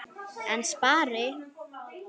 En spari?